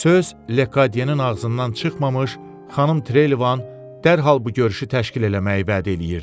Söz Lekadiyenin ağzından çıxmamış, Xanım Trelevan dərhal bu görüşü təşkil eləməyi vəd eləyirdi.